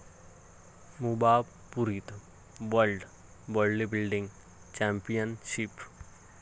मुंबापुरीत world bodybuilding championship